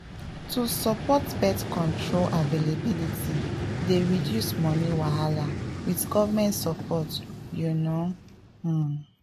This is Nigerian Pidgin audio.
to support birth control availability dey reduce money wahala with government support you know um